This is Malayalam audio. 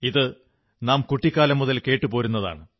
ഇതു നാം കുട്ടിക്കാലം മുതൽ കേട്ടുപോരുന്നതാണ്